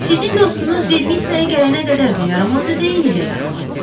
Sizin dostunuz Vermissaya gələnə qədər də yaramaz idi, indi də yaramazdır.